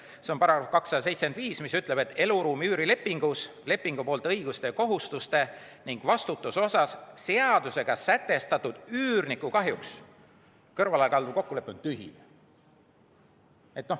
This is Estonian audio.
See on § 275, mis ütleb, et eluruumi üüri lepingus lepingupoolte õiguste ja kohustuste ning vastutuse osas seadusega sätestatust üürniku kahjuks kõrvalekalduv kokkulepe on tühine.